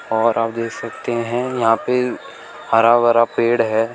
और आप देख सकते हैं यहां पे हरा भरा पेड़ है।